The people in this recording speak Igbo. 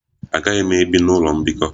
Agaghị m ebi n'ụlọ mbikọ.